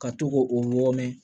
Ka to k'o o wɔɔrɔ